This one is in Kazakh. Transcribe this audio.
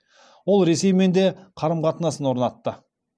ол ресеймен де қарым қатынас орнатты